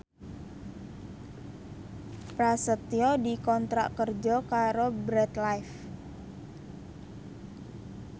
Prasetyo dikontrak kerja karo Bread Life